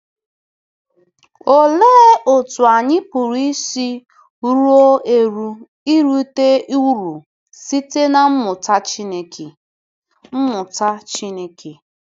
Olee otú anyị pụrụ isi ruo eru irite uru site na mmụta Chineke? mmụta Chineke?